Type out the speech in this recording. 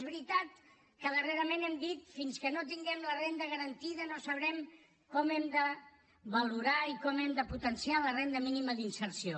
és veritat que darrerament hem dit fins que no tinguem la renda garantida no sabrem com hem de valorar i com hem de potenciar la renda mínima d’inserció